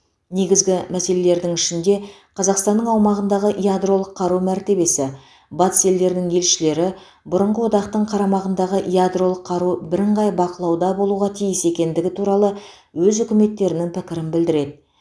негізгі мәселелердің ішінде қазақстанның аумағындағы ядролық қару мәртебесі батыс елдерінің елшілері бұрынғы одақтың қарамағындағы ядролық қару бірыңғай бақылауда болуға тиіс екендігі туралы өз үкіметтерінің пікірін білдіреді